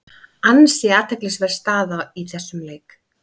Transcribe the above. Ansi athyglisverð staða í þessum leik.